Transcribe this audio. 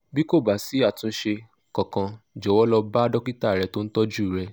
bí kò bá sí àtúnṣe kankan jọ̀wọ́ lọ bá dókítà rẹ tó ń tọ́jú rẹ